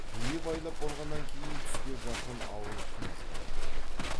бие байлап болғаннан кейін түске жақын ауыл қымызға жиылады